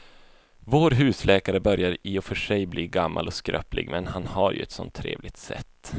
Vår husläkare börjar i och för sig bli gammal och skröplig, men han har ju ett sådant trevligt sätt!